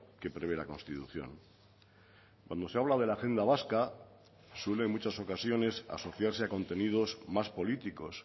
que prevé la constitución cuando se habla de la agenda vasca suele en muchas ocasiones a asociarse a contenidos más políticos